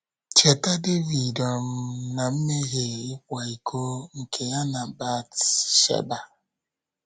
Cheta Devid um na mmehie ịkwa iko nke ya na Bat - sheba.